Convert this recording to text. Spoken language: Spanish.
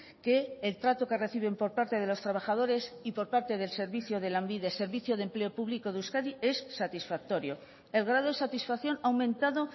que el trato que reciben por parte de los trabajadores y por parte del servicio de lanbide servicio de empleo público de euskadi es satisfactorio el grado de satisfacción ha aumentado